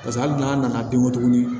Paseke hali n'a nana bin kɔ tuguni